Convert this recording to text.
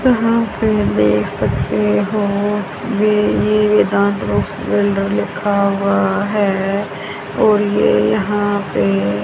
यहां पे देख सकते हो बे ये वेदांत रॉक्स बिल्डर लिखा हुआ है और ये यहां पे--